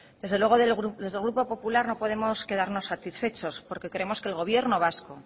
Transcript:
desde luego desde el grupo popular no podemos quedarnos satisfechos porque queremos que el gobierno vasco